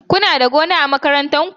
Kuna da gona a makarantar ku?